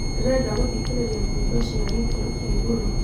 ndĩrenda gũthĩkĩrĩrĩa nyĩmbo cĩa gikiro kĩa ĩgũrũ